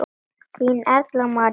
Þín Erla María.